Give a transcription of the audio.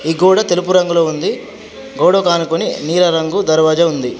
ఈ గోడ తెలుపు రంగులో ఉంది. గోడకు ఆనుకొని నీల రంగు దర్వాజా ఉంది.